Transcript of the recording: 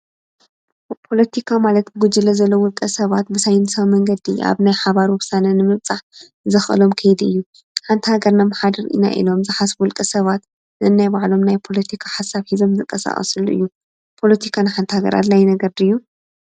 ፖሎቲካ ማለት ብጕጅለ ዘለው ዉልቀ ሰባት ብሳይንሳዊ መንገዲ ኣብ ናይ ሓባር ወብሳነ ንምብምፃሕ ዘኸአሎም ክይድ እዩ፡፡ ንሓንቲ ሃገር ነመሓድር ኢና ኢኖም ዝሓስቡ ውልቀ ሰባት ንናይ ባዕሎም ናይ ፖሎቲካ ሓሳብ ሒዘም ዝንቐኣቐስሉ እዩ፡፡ ፖሎቲካ ንሓንቲ ሃገር ኣድላይ ነገር ድዩ?